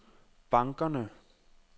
bankerne